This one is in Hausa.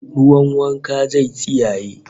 Ruwan wankan zai tsiyaye